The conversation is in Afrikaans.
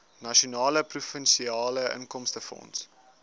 nasionale provinsiale inkomstefonds